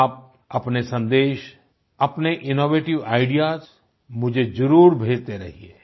आप अपने संदेश अपने इनोवेटिव आईडीईएएस मुझे जरूर भेजते रहिये